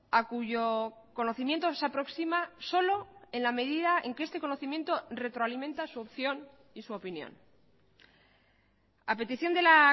a cuyo conocimiento se aproxima solo en la medida en que este conocimiento retroalimenta su opción y su opinión a petición de la